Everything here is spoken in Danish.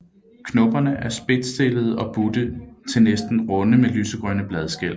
Knopperne er spedtstillede og butte til næsten runde med lysegrønne bladskæl